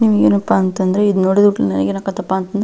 ನಿಮಗೇನಪ್ಪಾ ಅಂತಂದ್ರೆ ಇದು ನೋಡಿದ ಕೂಡಲೇ ನನಗೇನಾಯಿತಪ್ಪ ಅಂತಂದ್ರೆ.